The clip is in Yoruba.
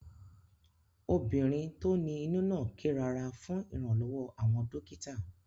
Ọmọbìnrin tó ní inú náà ké rárá fún iranlowo àwọn dókítà